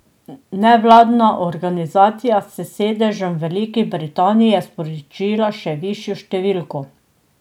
Nevladna organizacija s sedežem v Veliki Britaniji je sporočila še višjo številko.